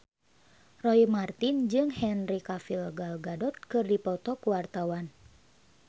Roy Marten jeung Henry Cavill Gal Gadot keur dipoto ku wartawan